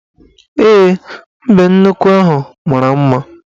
Ee, mbenuukwu ahụ mara mma